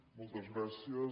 moltes gràcies